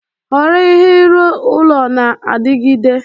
Họrọ ihe ịrụ ụlọ na-adigide.